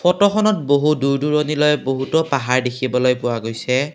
ফটোখনত বহু দূৰ দুৰণিলৈ বহুতো পাহাৰ দেখিবলৈ পোৱা গৈছে।